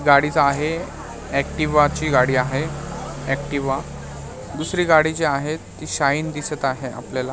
गाडीचा आहे एक्टिवा ची गाडी आहे एक्टिवा दुसरी गाडी जी आहे ती शाईन दिसत आहे आपल्याला.